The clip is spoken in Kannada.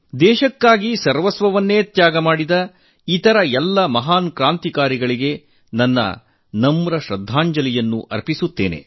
ದೇಶಕ್ಕಾಗಿ ಸರ್ವಸ್ವವನ್ನೇ ತ್ಯಾಗ ಮಾಡಿದ ಇತರ ಎಲ್ಲ ಮಹಾನ್ ಕ್ರಾಂತಿಕಾರಿಗಳಿಗೆ ನಾನು ವಿನಮ್ರ ಗೌರವ ನಮನವನ್ನು ಸಲ್ಲಿಸುತ್ತೇನೆ